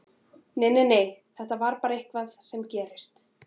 Nei, nei, þetta er bara eitthvað sem gerist.